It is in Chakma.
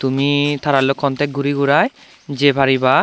taralloi contact guri gurai je pariba.